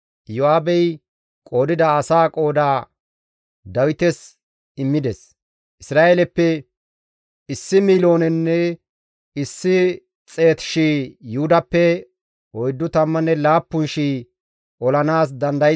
Iyo7aabey qoodida asaa qooda Dawites immides; Isra7eeleppe 1,100,000 Yuhudappe 47,000 olanaas dandayzayta demmides.